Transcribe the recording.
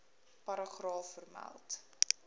paragraaf vermeld